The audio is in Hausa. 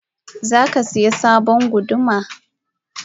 Zakasaya sabon guduma?